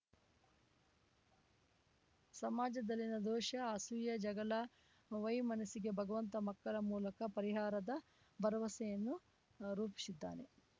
ಸಮಾಜದಲ್ಲಿನ ದ್ವೇಷ ಅಸೂಯೆ ಜಗಳ ವೈಮನಸ್ಸಿಗೆ ಭಗವಂತ ಮಕ್ಕಳ ಮೂಲಕ ಪರಿಹಾರದ ಬರವಸೆಯನ್ನು ರೂಪಿಸಿದ್ದಾನೆ